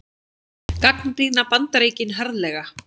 Gagnrýna Bandaríkin harðlega